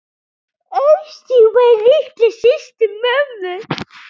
Ásdís var litla systir mömmu.